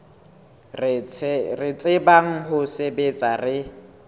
re tsebang ho sebetsa re